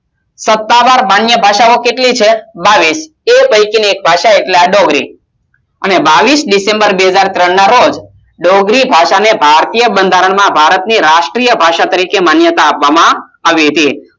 સત્તાવાર માન્ય ભાષાઓ કેટલી છે બાવીસ એ પૈકીની એક ભાષા એટલે આ ડોંગરી અને બાવીસ ડિસેમ્બર બે હજાર ત્રણ ના રોજ ડોગ્રી ભાષાને ભારતીય બંધારણમાં ભારતની રાષ્ટ્રીય ભાષા તરીકે માન્યતા આપવામાં આવી હતી